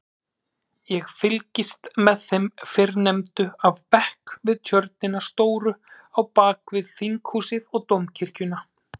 Ég fylgist með þeim fyrrnefndu af bekk við tjörnina stóru á bakvið Þinghúsið og Dómkirkjuna.